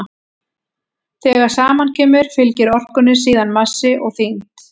þegar saman kemur fylgir orkunni síðan massi og þyngd